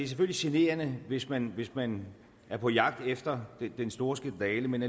selvfølgelig generende hvis man hvis man er på jagt efter den store skandale men